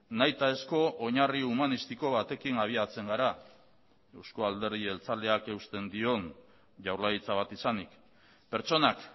nahitaezko oinarri humanistiko batekin abiatzen gara euzko alderdi jeltzaleak eusten dion jaurlaritza bat izanik pertsonak